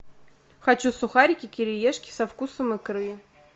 хочу сухарики кириешки со вкусом икры